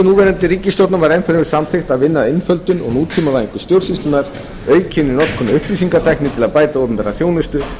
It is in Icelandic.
núverandi ríkisstjórnar var ennfremur samþykkt að vinna að einföldun og nútímavæðingu stjórnsýslunnar aukinni notkun á upplýsingatækni til að bæta opinbera þjónustu